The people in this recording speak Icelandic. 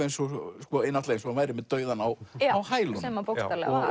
eins og eins og hann væri með dauðann á á hælunum sem hann bókstaflega